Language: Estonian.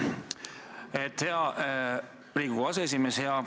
Aitäh, hea Riigikogu aseesimees!